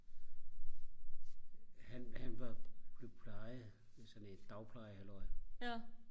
han han var blev plejet ved sådan et dagpleje halløj